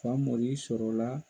Famori sɔrɔ la